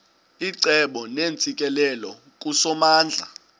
icebo neentsikelelo kusomandla